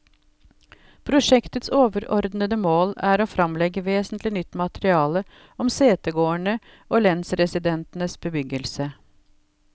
Prosjektets overordede mål er å fremlegge vesentlig nytt materiale om setegårdene og lensresidensenes bebyggelse.